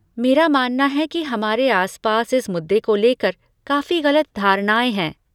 मेरा मानना है कि हमारे आसपास इस मुद्दे को लेकर काफी गलत धारणाएँ हैं।